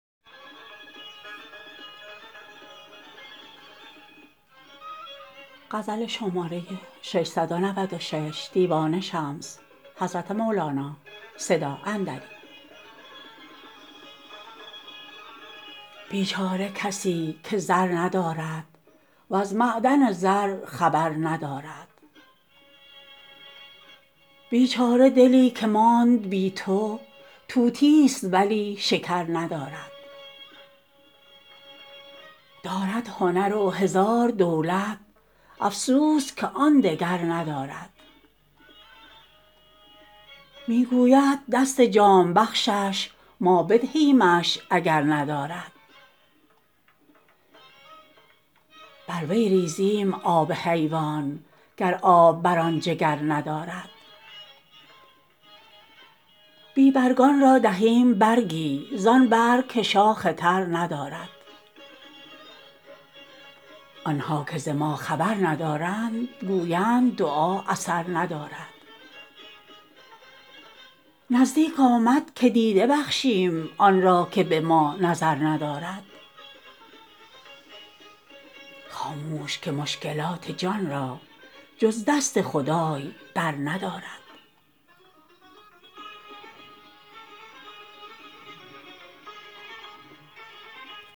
بیچاره کسی که زر ندارد وز معدن زر خبر ندارد بیچاره دلی که ماند بی تو طوطیست ولی شکر ندارد دارد هنر و هزار دولت افسوس که آن دگر ندارد می گوید دست جام بخشش ما بدهیمش اگر ندارد بر وی ریزییم آب حیوان گر آب بر آن جگر ندارد بی برگان را دهیم برگی زان برگ که شاخ تر ندارد آن ها که ز ما خبر ندارند گویند دعا اثر ندارد نزدیک آمد که دیده بخشیم آن را که به ما نظر ندارد خاموش که مشکلات جان را جز دست خدای برندارد